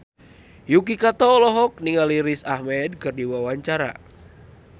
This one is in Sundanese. Yuki Kato olohok ningali Riz Ahmed keur diwawancara